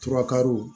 Turakari